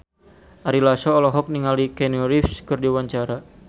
Ari Lasso olohok ningali Keanu Reeves keur diwawancara